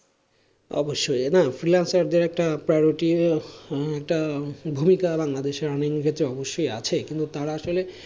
অবশ্যই না freelancer দের একটা priority একটা ভূমিকা বাংলাদেশের earning এর ক্ষেত্রে অবশ্যই আছে কিন্তু তারা আসলে,